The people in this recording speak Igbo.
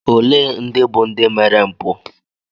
Ole ndị bụ ndị mere mpụ?